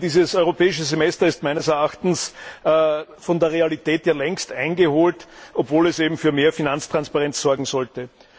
Denn dieses Europäische Semester ist meines Erachtens von der Realität längst eingeholt, obwohl es eben für mehr Finanztransparenz sorgen sollte.